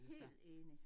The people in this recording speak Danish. Helt enig